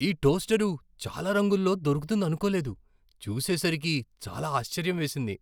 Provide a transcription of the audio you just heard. ఈ టోస్టరు చాలా రంగుల్లో దొరుకుతుందనుకోలేదు, చూసేసరికి చాలా ఆశ్చర్యం వేసింది .